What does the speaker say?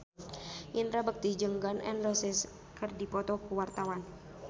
Indra Bekti jeung Gun N Roses keur dipoto ku wartawan